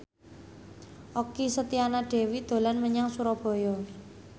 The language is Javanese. Okky Setiana Dewi dolan menyang Surabaya